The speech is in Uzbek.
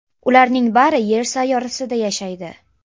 Ularning bari Yer sayyorasida yashaydi.